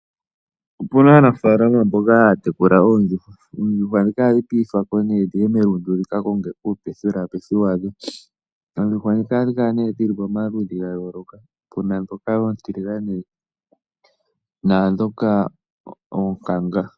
Opu na aanaafalama mboka haya tekula oondjuhwa. Oondjuhwa ndhika ohadhi piithwa ko nee dhi ye melundu dhi ka konge uupethipethi wadho. Oondjuhwa ndhika ohadhi kala nee dhi li pamaludhi ga yooloka, pu na ndhoka oontiligane naandhoka oonkanga.